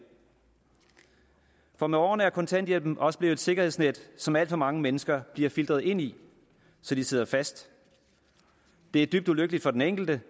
for med årene er kontanthjælpen også blevet et sikkerhedsnet som alt for mange mennesker bliver filtret ind i så de sidder fast det er dybt ulykkeligt for den enkelte